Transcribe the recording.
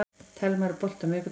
Telma, er bolti á miðvikudaginn?